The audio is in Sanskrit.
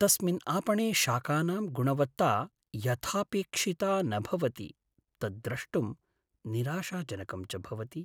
तस्मिन् आपणे शाकानां गुणवत्ता यथापेक्षिता न भवति, तत् द्रष्टुं निराशाजनकं च भवति।